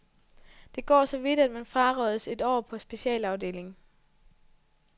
Det går så vidt, at man frarådes et år på en specialafdeling.